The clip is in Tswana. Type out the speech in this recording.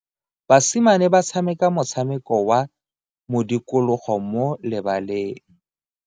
Basimane ba tshameka motshameko wa modikologo mo lebaleng.